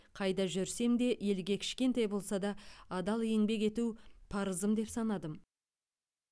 қайда жүрсем де елге кішкентай болса да адал еңбек ету парызым деп санадым